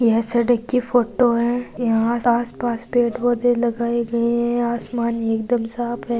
यह सड़क कि फोटो है यहां आस पास पेड़ पौधे लगाए हैं आसमान एकदम साफ है।